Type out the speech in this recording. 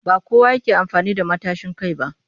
Ba kowa ne yake amfani da matashin kai ba